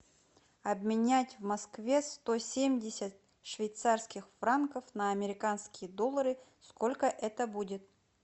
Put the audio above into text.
обменять в москве сто семьдесят швейцарских франков на американские доллары сколько это будет